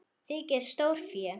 Þykir stórfé.